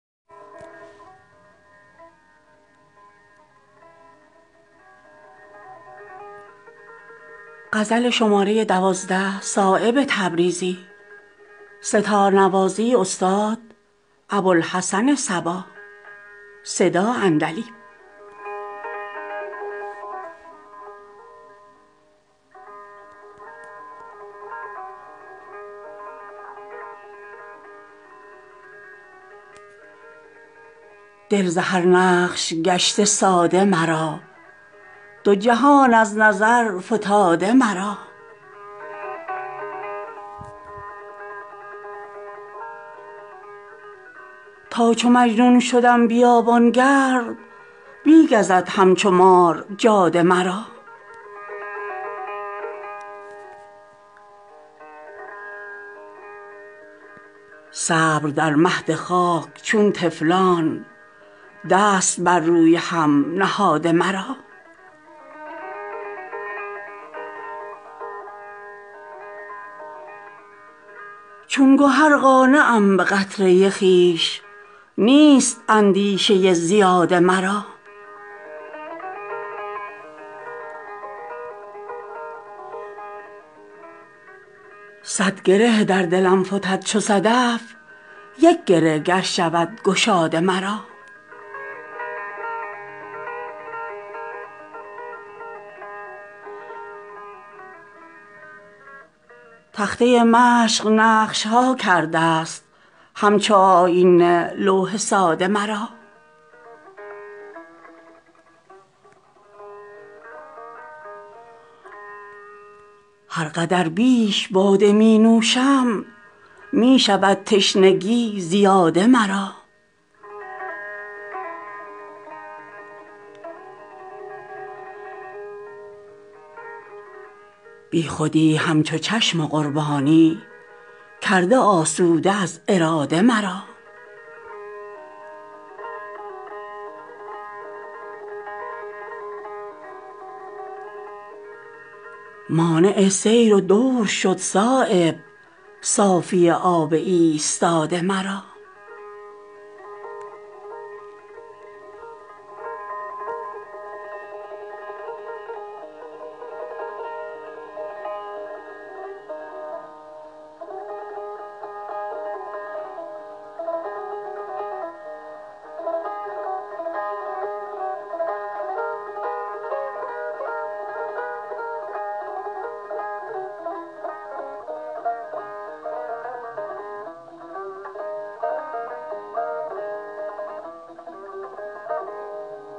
دل ز هر نقش گشته ساده مرا دو جهان از نظر فتاده مرا زه نگیرد کمان پر زورم نکشد عقل در قلاده مرا تا چو مجنون شوم بیابانگرد می گزد همچو مار جاده مرا صبر در مهد خاک چون طفلان دست بر روی هم نهاده مرا چون گهر قانعم به قطره خویش نیست اندیشه زیاده مرا می دهد بی طلب مرا روزی آن که کرده است بی اراده مرا صد گره در دلم فتد چو صدف یک گره گر شود گشاده مرا تا به روی تو چشمم افتاده است آفتاب از نظر فتاده مرا شد ز مستی کمان سخت فلک سست در قبضه چون کباده مرا چون کدو نیست شیشه در بارم نکند خرد زور باده مرا نه چنان بر سخن سوارم من که توان ساختن پیاده مرا تخته مشق نقش ها کرده است همچو آیینه لوح ساده مرا هر قدر بیش باده می نوشم می شود تشنگی زیاده مرا بی خودی همچو چشم قربانی کرده آسوده از اراده مرا باز می آورد ز مستی عشق همچو آب خمار باده مرا مانع سیر و دور شد صایب صافی آب ایستاده مرا